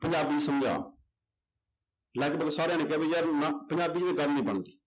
ਪੰਜਾਬੀ ਚ ਸਮਝਾ ਲਗਪਗ ਸਾਰਿਆਂ ਨੇ ਕਿਹਾ ਵੀ ਯਾਰ ਨਾ ਪੰਜਾਬੀ ਚ ਗੱਲ ਨੀ ਬਣਦੀ।